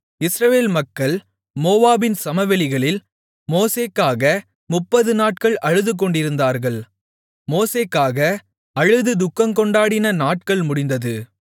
இஸ்ரவேல் மக்கள் மோவாபின் சமவெளிகளில் மோசேக்காக முப்பது நாட்கள் அழுதுகொண்டிருந்தார்கள் மோசேக்காக அழுது துக்கங்கொண்டாடின நாட்கள் முடிந்தது